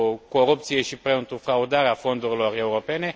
corupție și pentru fraudarea fondurilor europene.